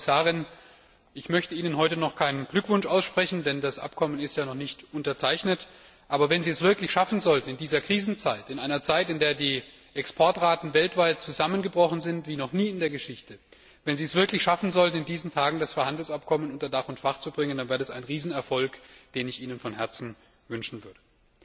Und, Frau Kommissarin, ich möchte Ihnen heute noch keinen Glückwunsch aussprechen, denn das Abkommen ist ja noch nicht unterzeichnet, aber wenn Sie es wirklich schaffen sollten, in dieser Krisenzeit in einer Zeit, in der die Exportraten weltweit zusammengebrochen sind wie noch nie in der Geschichte das Freihandelsabkommen unter Dach und Fach zu bringen, dann wäre das ein Riesenerfolg, den ich Ihnen von Herzen wünschen würde.